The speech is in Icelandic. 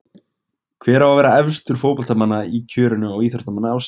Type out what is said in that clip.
Hver á að vera efstur fótboltamanna í kjörinu á Íþróttamanni ársins?